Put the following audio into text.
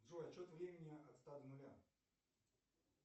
джой отсчет времени от ста до нуля